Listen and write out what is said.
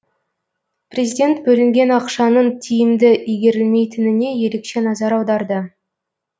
президент бөлінген ақшаның тиімді игерілмейтініне ерекше назар аударды